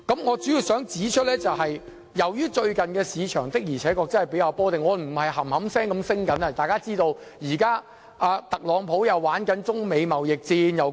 我主要想指出，最近的市場確實較為波動，不是一直上升，特朗普又展開中美貿易戰。